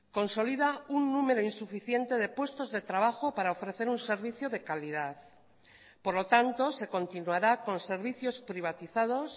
consolida un número insuficiente de puestos de trabajo para ofrecer un servicio de calidad por lo tanto se continuará con servicios privatizados